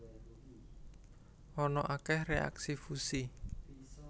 Ana akeh reaksi fusi